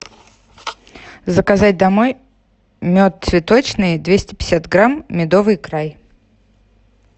заказать домой мед цветочный двести пятьдесят грамм медовый край